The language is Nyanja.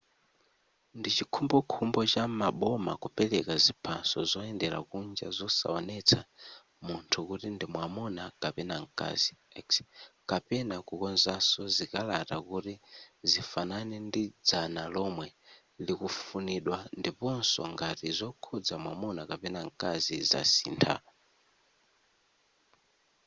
ndichikhumbokhumbo cha maboma kupereka ziphaso zoyendera kunja zosaonetsa munthu kuti ndimwamuna kapena mkazi x kapena kukonzaso zikalata kuti zifanane ndi dzina lomwe likufunidwa ndiposo ngati zokhuza mwamuna kapena mkazi zasintha